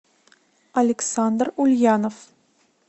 александр ульянов